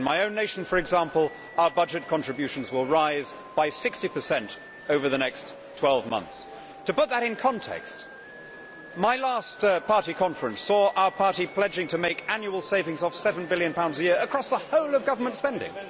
In my own nation, for example, our budget contributions will rise by 60 over the next 12 months. To put that in context, my last party conference saw our party pledging to make annual savings of GBP 7 billion a year across the whole of government spending.